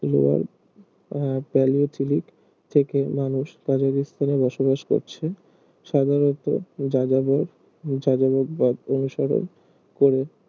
lower ah palaeolithic থেকে মানুষ কাজাকিস্তানে বসবাস করছে সাধারণত যাযাবর যাযাবর পথ অনুসরণ করে